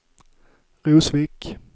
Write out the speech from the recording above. Rosvik